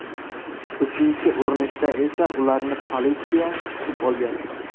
Uchinchi urinishda esa ularni politsiya kutib olgan.